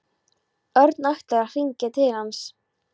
Örn ætlar að hringja til hans.